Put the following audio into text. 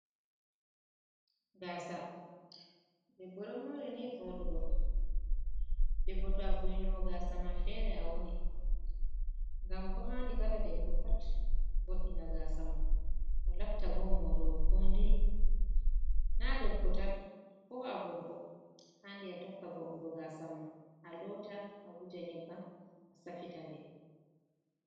Gasa ɗebbo ɗo mori ni vooɗugo. Ɗobbo to avo'itinowo gasama fere a wani. Ngam bo andi kala debbo pat vo’ina gasamon latta bo mourowo kodai. na ɗebbotan ko a gorko haandi a tokka vo’ongo gasama a loota a wuja nyebbam a safita nde.